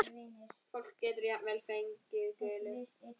Einum kennt, öðrum bent.